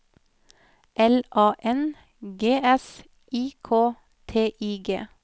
L A N G S I K T I G